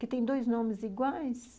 Que tem dois nomes iguais.